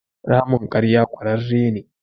Ramin ƙarya ƙurarre ne.